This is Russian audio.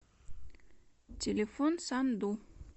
телефон санду